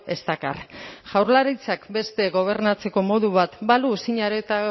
ez dakar jaurlaritzak beste gobernatzeko modu bat balu zine